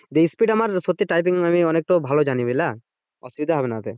speed আমার সত্যি typing আমি তো ভালো জানি বুঝলা অসুবিধা হবে না ওতে